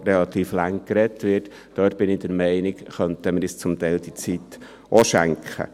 Ich bin der Meinung, diese Zeit könnten wir uns zum Teil auch schenken.